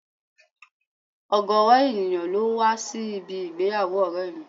Ọ̀gọrọ ènìyàn ló wá sí ibi ìgbéyàwó ọ̀rẹ́ mi